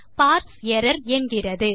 parse error என்கிறது